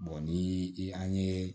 ni i ye